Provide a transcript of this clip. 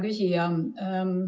Hea küsija!